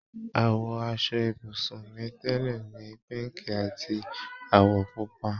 Àwọ̀ aṣọ ibùsùn mi tẹ́lẹ̀ ni píǹkì àti àwọ̀ pọ́pù